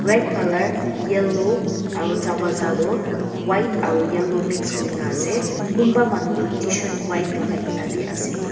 red colour yellow aru darvazah toh white aru yellow mix kurina ase kunba manu toh tshirt white lagai kena bi ase.